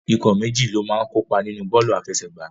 Ikọ̀ méjì ló máa ń kópa nínu bọ́ọ̀lù àfẹsẹ̀gbá.